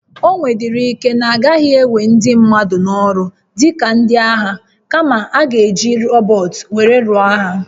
O nwedịrị ike na a gaghị ewe ndị mmadụ n'ọrụ dị ka ndị agha, kama, a ga-eji rọbọt were lụọ agha.